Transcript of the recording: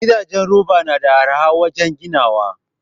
Gidajen roba nada arha wajan ginawa